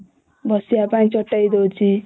ବସିବା ପାଇଁ ଚଟେଇ ଦଉଚି